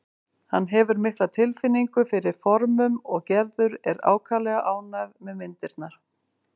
Hann hefur mikla tilfinningu fyrir formum og Gerður er ákaflega ánægð með myndirnar.